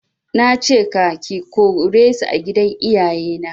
Nace ka/ke kore su a gidan iyaye na